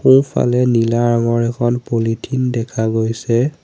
ইফালে নীলা ৰঙৰ এখন পলিথিন দেখা গৈছে।